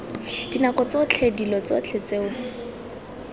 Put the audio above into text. dinako tsotlhe dilo tsotlhe tseo